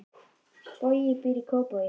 Bogi býr í Kópavogi.